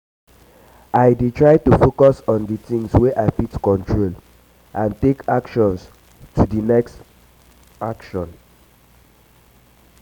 i dey try to focus on di things wey i fit control and take actions to di next um action.